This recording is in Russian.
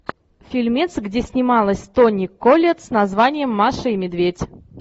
фильмец где снималась тони коллетт с названием маша и медведь